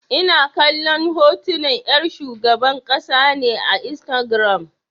Ina kallon hotunan 'yar shugaban ƙasa ne a Instagiram.